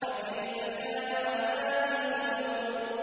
فَكَيْفَ كَانَ عَذَابِي وَنُذُرِ